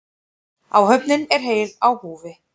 Áhöfnin er heil á húfi